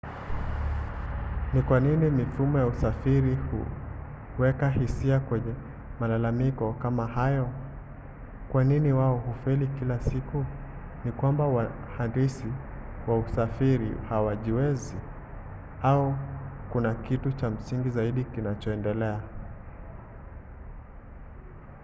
ni kwa nini mifumo ya usafiri huweka hisia kwenye malalamiko kama hayo kwa nini wao hufeli kila siku? ni kwamba wahandisi wa usafiri hawajiwezi? au kuna kitu cha msingi zaidi kinachoendelea?